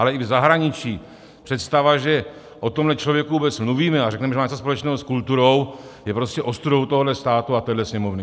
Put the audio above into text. Ale i v zahraničí představa, že o tomhle člověku vůbec mluvíme a řekneme, že má něco společného s kulturou, je prostě ostudou tohohle státu a téhle Sněmovny.